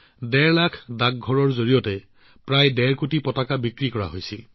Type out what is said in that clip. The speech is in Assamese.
ডেৰ লাখ ডাকঘৰৰ জৰিয়তে প্ৰায় ডেৰ কোটি ত্ৰিৰংগা বিক্ৰী হৈছিল